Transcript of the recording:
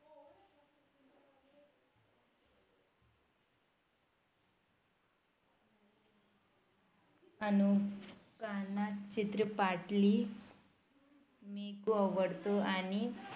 अनुकांना चित्रपाटली मीकु आवडतो आणि